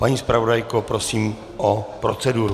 Paní zpravodajko, prosím o proceduru.